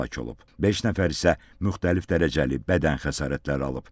Beş nəfər isə müxtəlif dərəcəli bədən xəsarətləri alıb.